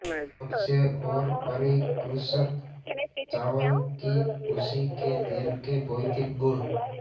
कच्चे और परिष्कृत चावल की भूसी के तेल के भौतिक गुण